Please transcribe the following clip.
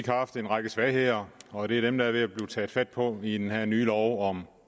haft en række svagheder og det er dem der er ved at blive taget fat på i den her nye lov om